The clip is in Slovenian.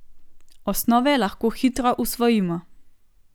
Osnove lahko hitro usvojimo.